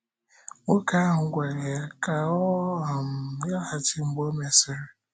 Nwoke ahụ gwara ya ka ọ um laghachi mgbe ọ mesịrị.